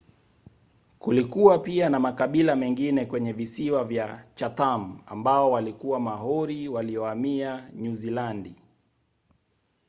kulikuwa pia na makabila mengine kwenye visiwa vya chatham ambao walikuwa maori waliohamia nyuzilandi